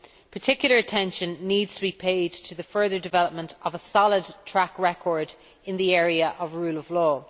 Particular attention needs to be paid to the further development of a solid track record in the area of the rule of law.